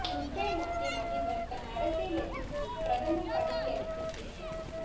Ukraine நாட்டின் அதிபர் தன் அரசியல் எதிரிக்கு பிரதமர் பதவி அளிக்க திட்டம்